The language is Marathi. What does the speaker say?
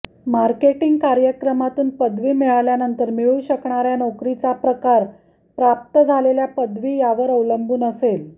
मार्केटिंग कार्यक्रमातून पदवी मिळाल्यानंतर मिळू शकणार्या नोकरीचा प्रकार प्राप्त झालेल्या पदवी यावर अवलंबून असेल